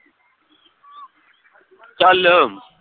ਚੱਲ